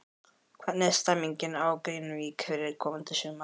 Hvernig er stemmingin á Grenivík fyrir komandi sumar?